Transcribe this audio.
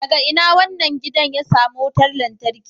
Daga ina wannan gidan ya samo wutar lantarki